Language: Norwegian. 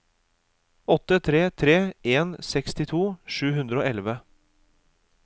åtte tre tre en sekstito sju hundre og elleve